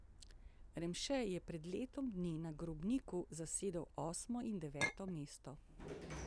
Remše je pred letom dni na Grobniku zasedel osmo in deveto mesto.